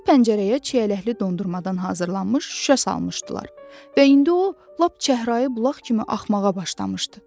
Bu pəncərəyə çiyələkli dondurmadan hazırlanmış şüşə salmışdılar və indi o lap çəhrayı bulaq kimi axmağa başlamışdı.